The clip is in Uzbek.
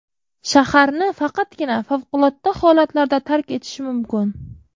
Shaharni faqatgina favqulodda holatlarda tark etish mumkin.